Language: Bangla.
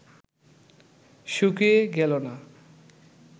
শুকিয়ে গেল না